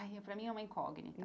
Ai, para mim é uma incógnita.